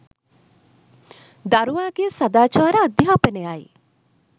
දරුවාගේ සදාචාර අධ්‍යාපනයයි.